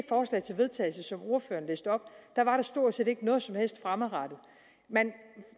forslag til vedtagelse som ordføreren læste op var der stort set ikke noget som helst fremadrettet man